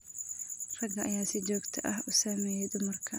Ragga ayaa si joogto ah u saameeya dumarka.